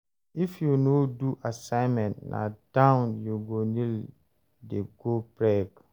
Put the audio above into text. If you no do assignment, na down you go kneel day go break.